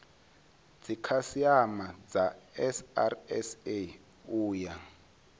dzikhasiama dza srsa u ya